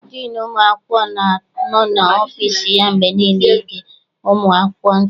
Diinu ụmụ akwụkwọ na-anọ n'ọfịịsi ya mgbe niile ịge ụmụ akwụkwọ ntị.